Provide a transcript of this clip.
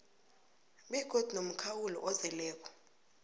begodu nomkhawulo ozeleko